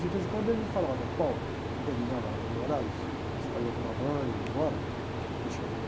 De vez em quando ele me falava, quando terminava ah, o horário, os caras iam tomar banho, ir embora, me chamava.